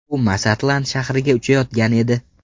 U Masatlan shahriga uchayotgan edi.